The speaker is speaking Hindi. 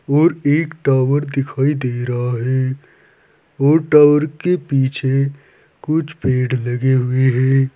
और एक टावर दिखाई दे रहा है और टावर के पीछे कुछ पेड़ लगे हुए है।